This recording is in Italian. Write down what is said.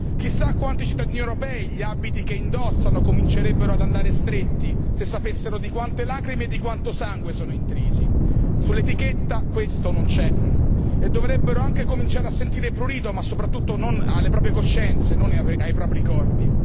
Chissà a quanti cittadini europei gli abiti che indossano comincerebbero ad andare stretti se sapessero di quante lacrime e di quanto sangue sono intrisi, sull'etichetta questo non c'è e dovrebbero anche cominciare a sentire prurito, ma soprattutto alle proprie coscienze, non ai propri corpi.